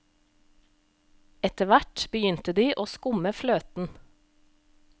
Etterhvert begynte de å skumme fløten.